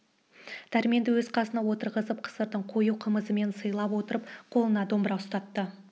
дәрменді өз қасына отырғызып қысырдың қою қымызымен сыйлап отырып қолына домбыра ұстатты